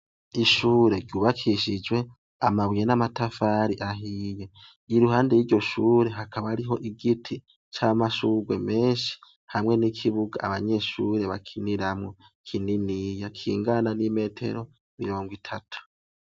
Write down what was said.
Ishure ryubakishijwe amabuye n'amatafari ahiye. Iruhande y'iryo shure hakaba ariho igiti c'amashugwe menshi ,hamwe n'ikibuga abanyeshure bakiniramwo kininiya kingana n'imetero mirongo itatu.